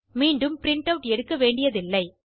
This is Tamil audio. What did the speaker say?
மீண்டும் பிரின்ட் ஆட் எடுக்க வேண்டியதில்லை